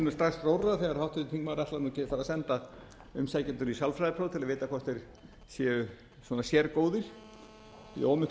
fara að senda umsækjendur í sálfræðipróf til að vita hvort þeir séu sérgóðir í of miklum